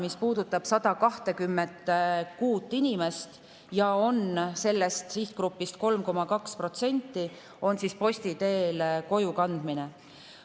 See puudutab 126 inimest, sellest sihtgrupist 3,2%, ja posti teel kojukannet.